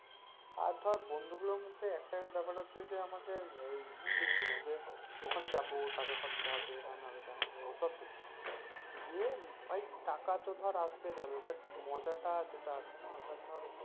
আর ধর বন্ধু গুলোর মধ্যে একটা ব্যাপার হচ্ছে যে আমাকে ওই ই দেখি না যে ওখানে যাব টাকা খরচ হবে হেন হবে তেন হবে ওসব দেখি না গিয়ে ভাই তো ধর আসতে যাবে but মজাটা যেটা আছে না ওটা ধর।